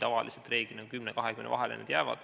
Tavaliselt 10 ja 20 vahele see jääb.